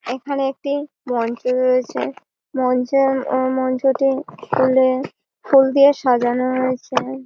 এইখানে একটি মঞ্চ রয়েছে মঞ্চের এ মঞ্চটি ফুলে দিয়ে ফুল দিয়ে সাজানো রয়েছে।